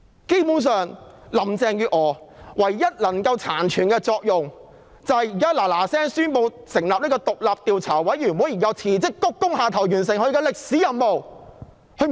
基本上，林鄭月娥殘存的唯一作用就是立即宣布成立獨立調查委員會，然後辭職鞠躬下台，完成她的歷史任務。